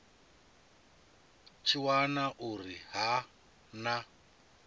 tshi wana uri ha na